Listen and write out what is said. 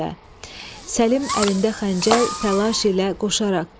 Səlim əlində xəncər təlaş ilə qoşaraq.